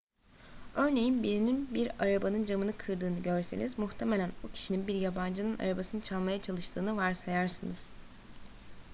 örneğin birinin bir arabanın camını kırdığını görseniz muhtemelen o kişinin bir yabancının arabasını çalmaya çalıştığını varsayarsınız